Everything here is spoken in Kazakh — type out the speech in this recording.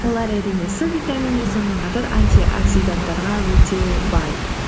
олар әрине с витаминіне сонымен қатар антиоксиданттарға өте бай